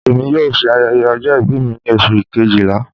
Emi yoo ṣe ayẹyẹ ọjọ-ibi mi ni Oṣu kejila